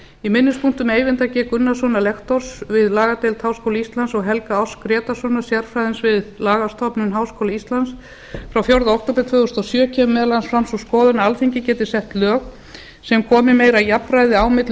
í minnispunktum eyvindar g gunnarssonar lektors við lagadeild háskóla íslands og helga áss grétarssonar sérfræðings við lagastofnun háskóla íslands frá fjórða október tvö þúsund og sjö kemur meðal annars fram sú skoðun að alþingi geti sett lög sem komi meira jafnræði á milli